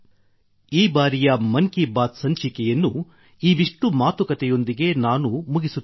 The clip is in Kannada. ಈ ಬಾರಿಯ ಮನ್ ಕಿ ಬಾತ್ ಸಂಚಿಕೆಯನ್ನು ಇವಿಷ್ಟು ಮಾತುಕತೆಯೊಂದಿಗೆ ನಾನು ಮುಗಿಸುತ್ತಿದ್ದೇನೆ